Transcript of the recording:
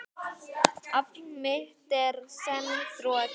Afl mitt er senn þrotið.